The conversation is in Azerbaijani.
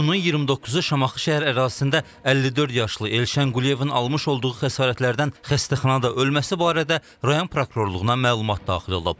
İyunun 29-u Şamaxı şəhər ərazisində 54 yaşlı Elşən Quliyevin almış olduğu xəsarətlərdən xəstəxanada ölməsi barədə rayon prokurorluğuna məlumat daxil olub.